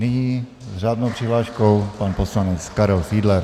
Nyní s řádnou přihláškou pan poslanec Karel Fiedler.